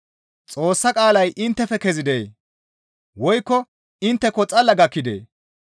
Xoossa qaalay inttefe kezidee? Woykko intteko xalla gakkidee?